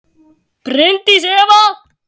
Bryndís Eva.